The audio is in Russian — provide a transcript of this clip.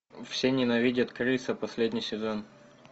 все ненавидят криса последний сезон